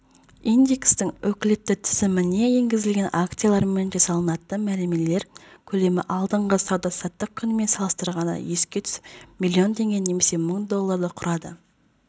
индекстің өкілетті тізіміне енгізілген акциялармен жасалатын мәмілелер көлемі алдыңғы сауда-саттық күнімен салыстырғанда есе түсіп млн теңгені немесе мың долларды құрады